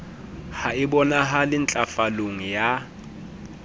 ha e bonahale ntlafalong ya